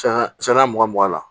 Saya saya mugan mugan la